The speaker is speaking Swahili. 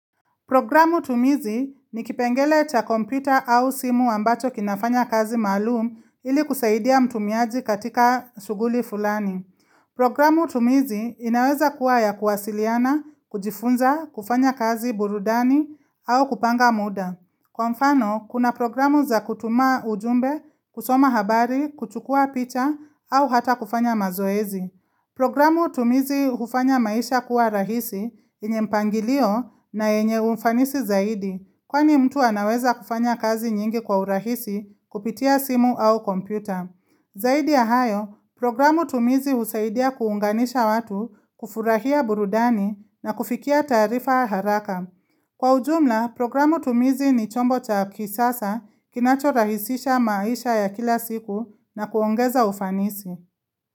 Programu tumizi ni kipengele cha kompita au simu ambacho kinafanya kazi maalum ili kusaidia mtumiaji katika shughuli fulani. Programu tumizi inaweza kuwa ya kuwasiliana, kujifunza, kufanya kazi burudani au kupanga muda. Kwa mfano, kuna programu za kutuma ujumbe, kusoma habari, kuchukuwa picha au hata kufanya mazoezi. Programu tumizi ufanya maisha kuwa rahisi yenye mpangilio na yenye ufanisi zaidi Kwani mtu anaweza kufanya kazi nyingi kwa urahisi kupitia simu au kompyuta Zaidi ya hayo, programu tumizi husaidia kuunganisha watu, kufurahia burudani na kufikia tarifa haraka Kwa ujumla, programu tumizi ni chombo cha kisasa kinacho rahisisha maisha ya kila siku na kuongeza ufanisi.